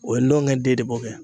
O ye ndɔnkɛ den de b'o kɛ.